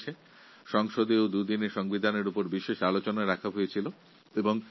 সংবিধান বিষয়ে বিশেষভাবে আলোচনার জন্য সংসদের অধিবেশনে দুটি দিন নির্দিষ্ট করা হয়েছিল